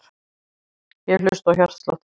Ég hlusta á hjartslátt þinn.